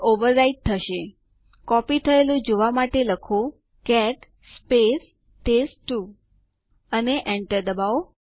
અહીં sudo space adduser આદેશ લખો અને Enter દબાવો